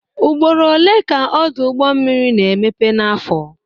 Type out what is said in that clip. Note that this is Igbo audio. Ugboro one ka Ọdụ ụgbọ mmiri na-emepe n'afọ?